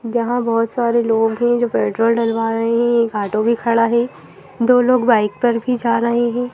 जहां बहुत सारे लोग हैं जो पेट्रोल डलवा रहे हैं एक ऑटो भी खड़ा है दो लोग बाइक पर भी जा रहे हैं।